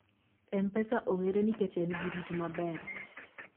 mpesa ong'ere nikech en gi rit maber